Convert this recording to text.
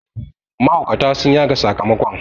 mahaukata sun yaga sakamakon